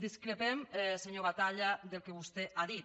discrepem senyor batalla del que vostè ha dit